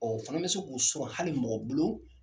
Ɔɔ u fana be se k'u sɔrɔ hali mɔgɔ bolo